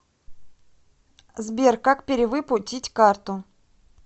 сбер как перевыпу тить карту